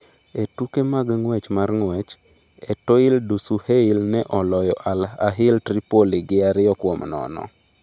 E tuke mag ng’wech mar ng’wech, Etoile Du Saheil ne oloyo Al Ahil Tripol gi 2-0.